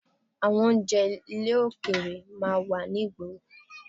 Àwọn oúnjẹ ilẹ̀ òkèrè máa ń wà ní ìgboro